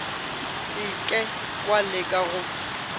se ke wa leka go